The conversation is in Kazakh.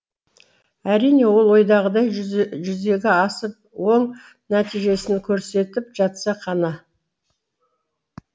әрине ол ойдағыдай жүзеге асып оң нәтижесін көрсетіп жатса ғана